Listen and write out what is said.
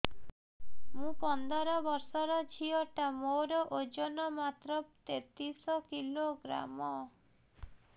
ମୁ ପନ୍ଦର ବର୍ଷ ର ଝିଅ ଟା ମୋର ଓଜନ ମାତ୍ର ତେତିଶ କିଲୋଗ୍ରାମ